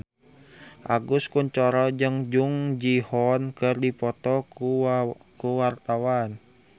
Agus Kuncoro jeung Jung Ji Hoon keur dipoto ku wartawan